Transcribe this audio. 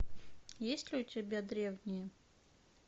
есть ли у тебя древние